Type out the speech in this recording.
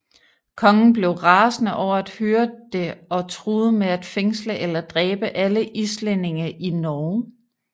Kongen blev rasende over at høre det og truede med at fængsle eller dræbe alle islændinge i Norge